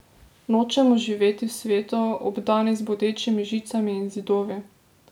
Nočemo živeti v svetu, obdanem z bodečimi žicami in zidovi!